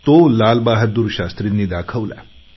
तो लालबहादूर शास्त्रींनी दाखवला